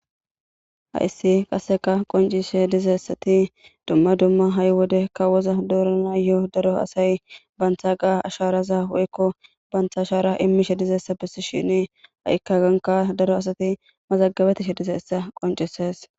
Hayissi qasekka qonccisishshe dizayita dumma dumma hayi wode asayi kawoza doranawu banita asharaza imishshe dizayiss .hayikka hagannikka daro asati mazagabetishshe dizayissa besses.